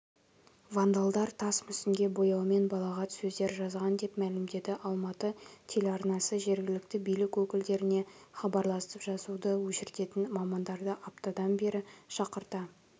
вандалдар тас мүсінге бояумен балағат сөздер жазған деп мәлімдеді алматы телеарнасы жергілікті билік өкілдеріне хабарласып жазуды өшіртетін мамандарды аптадан бері шақырта